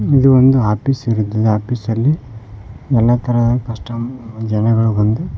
ಒಂದು ಆಪೀಸ್ ಇರುತ್ತದೆ ಆಪೀಸಲ್ಲಿ ಎಲ್ಲಾ ತರದ ಕಸ್ಟಮರ್ ಜನಗಳು ಬಂದು--